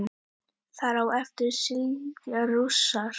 Þar á eftir fylgja rússar.